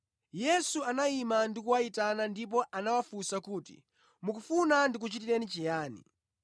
Yesu anayima ndi kuwayitana ndipo anawafunsa kuti, “Mukufuna ndikuchitireni chiyani?”